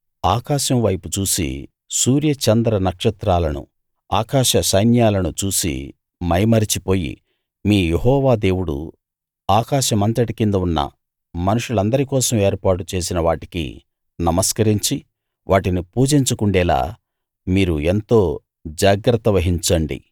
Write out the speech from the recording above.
ఆకాశం వైపు చూసి సూర్య చంద్ర నక్షత్రాలను ఇంకా ఆకాశ సైన్యాలను చూసి మైమరచిపోయి మీ యెహోవా దేవుడు ఆకాశమంతటి కింద ఉన్న మనుషులందరి కోసం ఏర్పాటు చేసిన వాటికి నమస్కరించి వాటిని పూజించకుండేలా మీరు ఎంతో జాగ్రత్త వహించండి